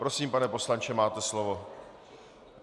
Prosím, pane poslanče, máte slovo.